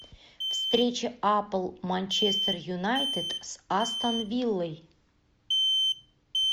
встреча апл манчестер юнайтед с астон виллой